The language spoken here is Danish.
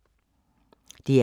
DR K